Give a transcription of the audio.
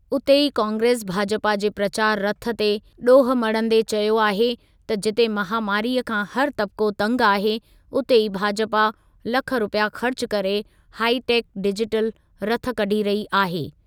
उते ई कांग्रेस भाजपा जे प्रचार रथ ते ॾोहु मढ़ंदे चयो आहे त जिते महामारीअ खां हर तबिक़ो तंगि आहे उते ई भाजपा लख रुपिया ख़र्च कर हाइटेक डिजिटल रथ कढी रही आहे।